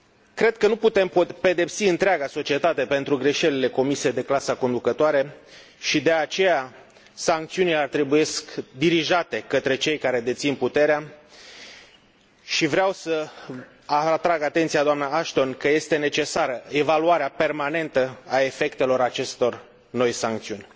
Cred că nu putem pedepsi întreaga societate pentru greșelile comise de clasa conducătoare și, de aceea, sancțiunile trebuie dirijate către cei care dețin puterea, și vreau să atrag atenția, doamnă Ashton, că este necesară evaluarea permanentă a efectelor acestor noi sancțiuni.